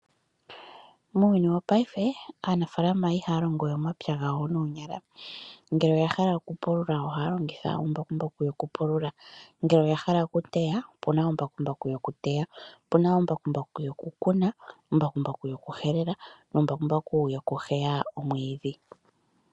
muuyuni wongashingeyi aanafalaama ihaya longowe omapya gawo noonyala. Ngele oya hala okupulula ohaya longitha embakumbaku lyokupulula , ngele oya hala okuteya opuna embakumbaku lyokuteya, opuna embakumbaku lyokukuna, embakumbaku lyokuhelela nembakumbaku lyokuheya omwiidhi.